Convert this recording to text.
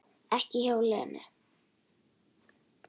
Ekki hjá Lenu